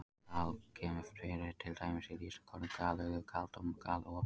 Gal- kemur fyrir til dæmis í lýsingarorðunum galauður, galtómur og galopinn.